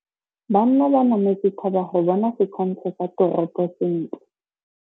Banna ba nametse thaba go bona setshwantsho sa toropô sentle.